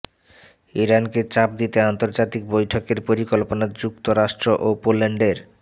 ইরানকে চাপ দিতে আন্তর্জাতিক বৈঠকের পরিকল্পনা যুক্তরাষ্ট্র ও পোল্যান্ডের